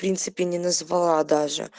в принципе не назвала даже